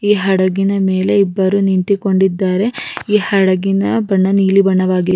ಈ ಹಡಗಿನ ಮೇಲೆ ಇಬ್ಬರು ನಿಂತಿಕೊಂಡಿದ್ದಾರೆ ಈ ಹಡಗಿನ ಬಣ್ಣ ನೀಲಿ ಬಣ್ಣವಾಗಿದೆ--